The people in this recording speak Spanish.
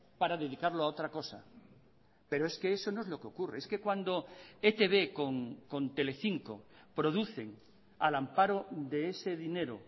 para dedicarlo a otra cosa pero es que eso no es lo que ocurre es que cuando etb con telecinco producen al amparo de ese dinero